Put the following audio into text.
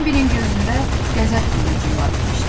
Bambinin gözündə qəzəb qığılcımları keçdi.